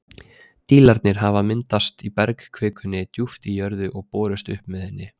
Dílarnir hafa þá myndast í bergkvikunni djúpt í jörðu og borist upp með henni.